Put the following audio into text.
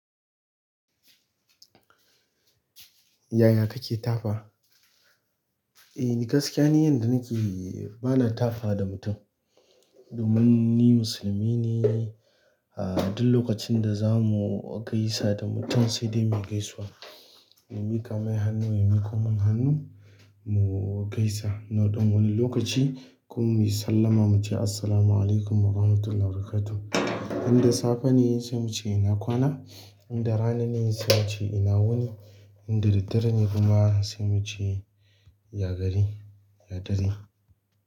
Yaya kake tafa? Eh ni gaskiya ni yanda nake bana tafawa da mutum. Domin ni musulmi ne, ah duk lokacin da za mu gaisa da mutum sai dai mu gaisuwa. In miƙa mai hannu yayi miƙo mun hannu mu gaisa. Naɗan wani lokaci, kuma muyi sallama muce assalamu alaikum warahmatullahi wabarakatuh. In da safe ne sai muce ina kwana, in da rana ne sai muce ina wuni, in da daddare ne kuma sai muce ya gari, ya dare.